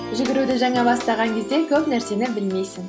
жүгіруді жаңа бастаған кезде көп нәрсені білмейсің